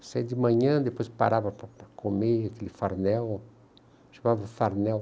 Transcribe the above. Você ia de manhã, depois parava para comer aquele farmel, chamava farmel.